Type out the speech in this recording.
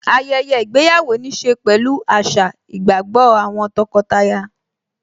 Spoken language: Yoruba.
ayẹyẹ ìgbéyàwó níí ṣe pẹ̀lú àṣà, ìgbàgbọ́ àwọn tọkọtaya